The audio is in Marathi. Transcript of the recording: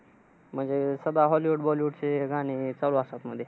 म्हणजे, सध्या hollywood, bollywood चे गाणी चालू असतात मधे.